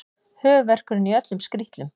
Höfuðverkurinn í öllum skrítlum.